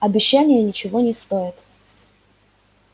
обещания ничего не стоят